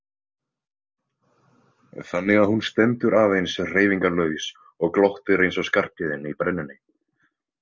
Þannig að hún stendur aðeins hreyfingarlaus og glottir eins og Skarphéðinn í brennunni.